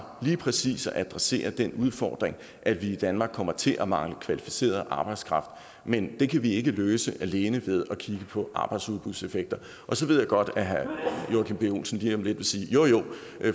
lige præcis adresserer den udfordring at vi i danmark kommer til at mangle kvalificeret arbejdskraft men det kan vi ikke løse alene ved at kigge på arbejdsudbudseffekter så ved jeg godt at herre joachim b olsen lige om lidt vil sige jo jo